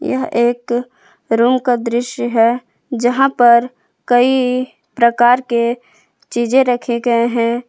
यह एक रूम का दृश्य है जहां पर कई प्रकार के चीजें रखे गए हैं।